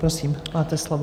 Prosím, máte slovo.